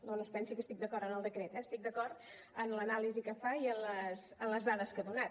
no no es pensi que estic d’acord amb el decret eh estic d’acord amb l’anàlisi que fa i amb les dades que ha donat